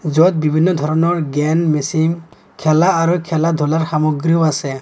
য'ত বিভিন্ন ধৰণৰ গেন মেচিন খেলা আৰু খেলা-ধূলাৰ সামগ্ৰীও আছে।